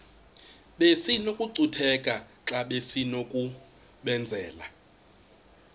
besinokucutheka xa besinokubenzela